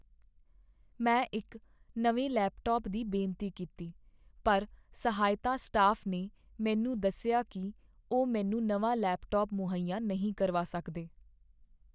ਮੈਂ ਇੱਕ ਨਵੇਂ ਲੈਪਟਾਪ ਦੀ ਬੇਨਤੀ ਕੀਤੀ ਪਰ ਸਹਾਇਤਾ ਸਟਾਫ ਨੇ ਮੈਨੂੰ ਦੱਸਿਆ ਕੀ ਉਹ ਮੈਨੂੰ ਨਵਾਂ ਲੈਪਟਾਪ ਮੁਹੱਇਆ ਨਹੀਂ ਕਰਵਾ ਸਕਦੇ।